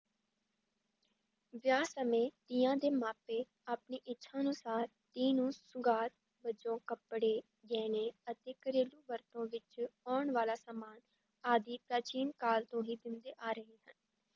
ਵਿਆਹ ਸਮੇਂ ਧੀਆਂ ਦੇ ਮਾਪੇ ਆਪਣੀ ਇੱਛਾ ਅਨੁਸਾਰ ਧੀ ਨੂੰ ਸੁਗਾਤ ਵਜੋਂ ਕੱਪੜੇ ਗਹਿਣੇ ਅਤੇ ਘਰੇਲੂ ਵਰਤੋਂ ਵਿੱਚ ਆਉਣ ਵਾਲਾ ਸਮਾਨ ਆਦਿ ਪ੍ਰਾਚੀਨ ਕਾਲ ਤੋਂ ਹੀ ਦਿੰਦੇ ਆ ਰਹੇ ਹਨ।